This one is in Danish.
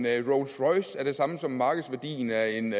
af en rolls royce er den samme som markedsværdien af en